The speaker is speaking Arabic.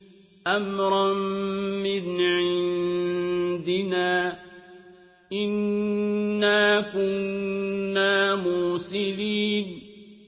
أَمْرًا مِّنْ عِندِنَا ۚ إِنَّا كُنَّا مُرْسِلِينَ